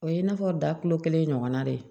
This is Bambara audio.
O ye i n'a fɔ da kulo kelen ɲɔgɔnna de ye